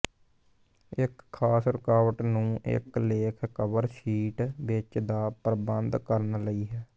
ਇੱਕ ਖਾਸ ਰੁਕਾਵਟ ਨੂੰ ਇਕ ਲੇਖ ਕਵਰ ਸ਼ੀਟ ਵਿੱਚ ਦਾ ਪ੍ਰਬੰਧ ਕਰਨ ਲਈ ਹੈ